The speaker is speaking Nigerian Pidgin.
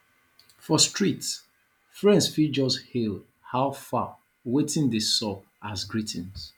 for street friends fit just hail how far wetin dey sup as greeting